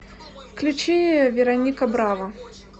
включи вероника браво